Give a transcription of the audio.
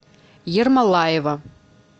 ермолаева